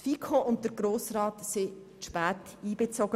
Die FiKo und der Grosse Rat wurden zu spät einbezogen.